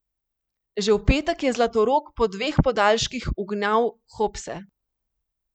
Že v petek je Zlatorog po dveh podaljških ugnal Hopse.